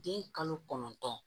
Den kalo kɔnɔntɔn